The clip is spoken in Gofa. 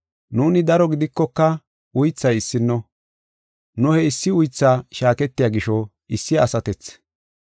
Nuuni daro gidikoka uythay issino, nu he issi uytha shaaketiya gisho issi asatethi.